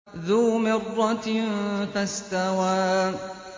ذُو مِرَّةٍ فَاسْتَوَىٰ